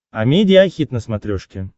амедиа хит на смотрешке